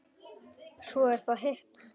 Svo er það hitt.